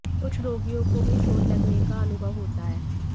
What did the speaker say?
कुछ रोगियों को भी चोट लगने का अनुभव होता है